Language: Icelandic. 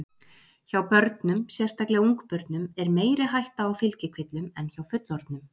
Hjá börnum, sérstaklega ungbörnum er meiri hætta á fylgikvillum en hjá fullorðnum.